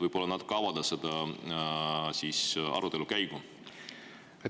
Võib-olla natuke avate seda arutelu käiku?